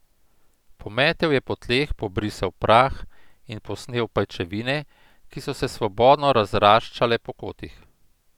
Pometel je po tleh, pobrisal prah in posnel pajčevine, ki so se svobodno razraščale po kotih.